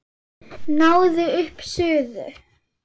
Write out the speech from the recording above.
Náið upp suðu.